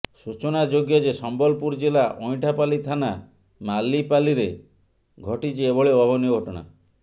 ସୂଚନାଯୋଗ୍ୟ ଯେ ସମ୍ବଲପୁର ଜିଲ୍ଲା ଅଇଁଠାପାଲି ଥାନା ମାଲିପାଲିରେ ଘଟିଛି ଏଭଳି ଅଭାବନୀୟ ଘଟଣା